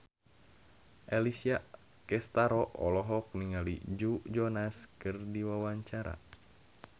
Alessia Cestaro olohok ningali Joe Jonas keur diwawancara